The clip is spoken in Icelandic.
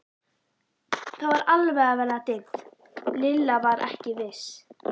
Það var alveg að verða dimmt, Lilla var ekki viss.